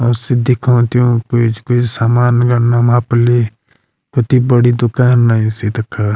यख सी दिखाओ तेमु पेंचकस सामान गड़ना मा पली कती बड़ी दूकान लयीं स तख।